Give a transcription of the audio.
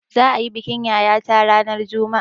Za'a yi bikin yayata ranar juma'a.